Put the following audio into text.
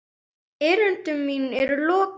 Erindi mínu er lokið!